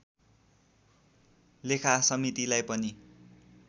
लेखा समितिलाई पनि